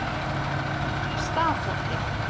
Stafholti